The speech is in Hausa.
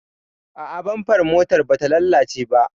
A'a, bamfar motar bata lalace ba.